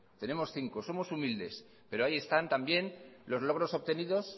tenemos cinco somos humildes pero ahí están también los logros obtenidos